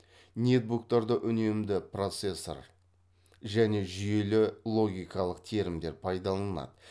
нетбуктарда үнемді процессор және жүйелі логикалық терімдер пайдаланылады